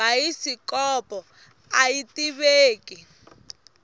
bayisikopo aya tiveki